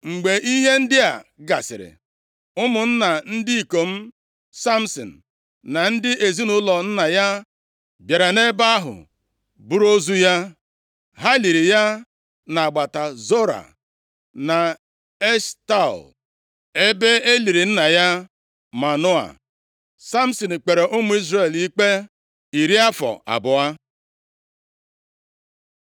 Mgbe ihe ndị a gasịrị, ụmụnna ndị ikom Samsin, na ndị ezinaụlọ nna ya bịara nʼebe ahụ, buru ozu ya. Ha liri ya nʼagbata Zora na Eshtaol, ebe e liri nna ya Manoa. Samsin kpere ụmụ Izrel ikpe iri afọ abụọ.